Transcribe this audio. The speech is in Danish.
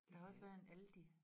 Der har også været et Aldi